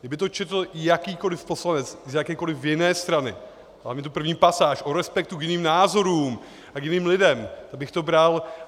Kdyby to četl jakýkoliv poslanec z jakékoliv jiné strany, hlavně tu první pasáž o respektu k jiným názorům a k jiným lidem, tak bych to bral.